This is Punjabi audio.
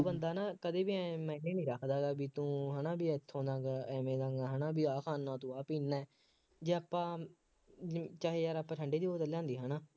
ਉਹ ਬੰਦਾ ਨਾ ਕਦੇ ਵੀ ਆਂਏਂ ਨਹੀਂ ਹੁੰਦਾ, ਬਈ ਤੂੰ ਹੈ ਨਾ ਉੱਥੇ ਨਾ ਜਾ, ਐਵੇਂ ਕਰਦਾ, ਬਈ ਹੈ ਨਾ ਆਹ ਖਾਂਦਾ ਤੂੰ ਆਹ ਪੀਂਦਾ ਜੇ ਆਪਾਂ ਚਾਹੇ ਯਾਰ ਆਪਾਂ ਠੰਡੇ ਦੀ ਬੋਤਲ ਲਿਆਂਦੀ ਹੈ ਨਾ